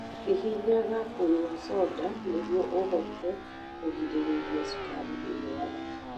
Hihinyaga kũnyua soda nĩguo ũhote kũgirĩrĩria cukari thĩinĩ wa thakame.